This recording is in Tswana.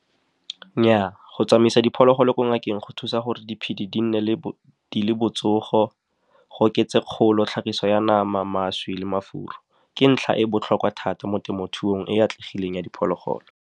Nnyaa, go tsamaisa diphologolo ko ngakeng go thusa gore diphedi di nne di le botsogo, go oketse kgolo, tlhagiso ya nama, mašwi le mafura ke ntlha e botlhokwa thata mo temothuong e e atlegileng ya diphologolo.